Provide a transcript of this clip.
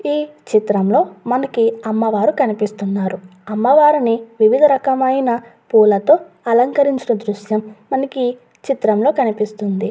ఈ చిత్రంలో మనకి అమ్మవారు కనిపిస్తున్నారు అమ్మవారిని వివిధ రకమైన పూలతో అలకరించడం దృశ్యం మనకి చిత్రంలో కనిపిస్తుంది.